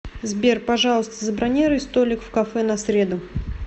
сбер пожалуйста забронируй столик в кафе на среду